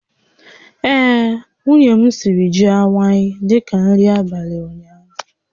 Ee, nwunye m siri ji awaị dị ka nri abalị ụnyaahụ